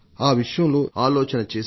ఆ విషయంలో సరిగ్గా ఆలోచన చేసి